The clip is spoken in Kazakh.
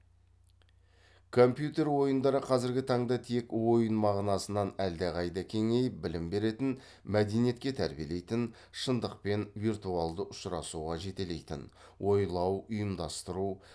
компьютер ойындары қазіргі таңда тек ойын мағынасынан әлдеқайда кеңейіп білім беретін мәдениетке тәрбиелейтін шындықпен виртуалды ұшырасуға жетелейтін ойлау ұйымдастыру